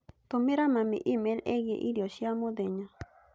Tũmĩra mami e-mail ĩgiĩ irio cia mũthenya